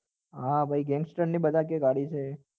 હા ભાઈ gangster બધા કે ગાડી છે